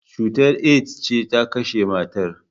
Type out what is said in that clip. Cutar AIDS ce ta kashe matar.